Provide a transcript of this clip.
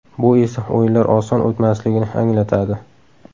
Bu esa o‘yinlar oson o‘tmasligini anglatadi.